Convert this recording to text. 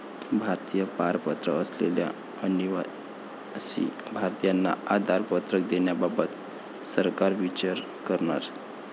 भारतीय पारपत्र असलेल्या अनिवासी भारतीयांना आधार पत्रक देण्याबाबत सरकार विचार करणार